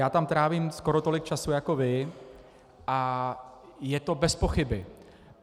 Já tam trávím skoro tolik času jako vy a je to bez pochyby.